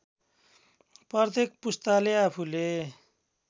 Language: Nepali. प्रत्येक पुस्ताले आफूले